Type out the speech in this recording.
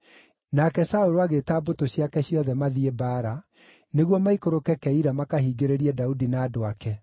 Nake Saũlũ agĩĩta mbũtũ ciake ciothe mathiĩ mbaara, nĩguo maikũrũke Keila makahingĩrĩrie Daudi na andũ ake.